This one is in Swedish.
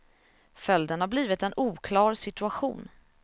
Följden har blivit en oklar situation.